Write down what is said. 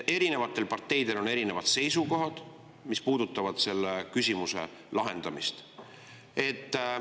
Erinevatel parteidel on erinevad seisukohad, mis puudutavad selle küsimuse lahendamist.